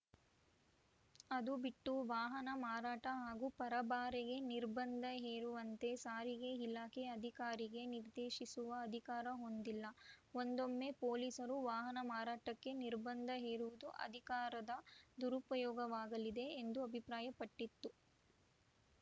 ಅದು ಬಿಟ್ಟು ವಾಹನ ಮಾರಾಟ ಹಾಗೂ ಪರಭಾರೆಗೆ ನಿರ್ಬಂಧ ಹೇರುವಂತೆ ಸಾರಿಗೆ ಇಲಾಖೆ ಅಧಿಕಾರಿಗೆ ನಿರ್ದೇಶಿಸುವ ಅಧಿಕಾರ ಹೊಂದಿಲ್ಲ ಒಂದೊಮ್ಮೆ ಪೊಲೀಸರು ವಾಹನ ಮಾರಾಟಕ್ಕೆ ನಿರ್ಬಂಧ ಹೇರುವುದು ಅಧಿಕಾರದ ದುರುಪಯೋಗವಾಗಲಿದೆ ಎಂದು ಅಭಿಪ್ರಾಯಪಟ್ಟಿತು